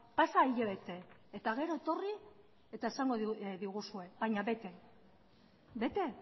pasa hilabete eta gero etorri eta esango diguzue baina bete bete